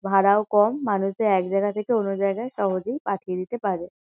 ভাড়াও কম মানুষে এক জায়গা থেকে অন্য জায়গায় সহজেই পাঠিয়ে দিতে পারে।